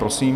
Prosím.